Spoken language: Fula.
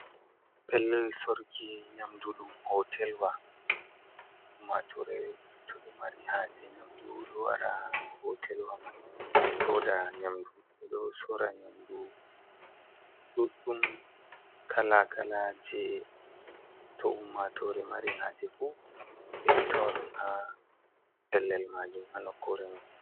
Pellel sorki nyamu ɗum hotelwa ummatore to ɗo mari haaje nyamdu oɗo wara haa hotelwa man soda nyamdu, ɓe ɗo sora nyamdu ɗuɗɗum kala kala, je to ummatore mari haaje fu ɓe ɗo tawa ɗum haa pellel majum haa nokkure man.